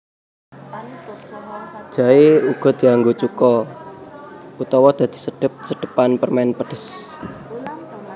Jaé uga dianggo cuka utawa dadi sedhep sedhepan permèn pedhes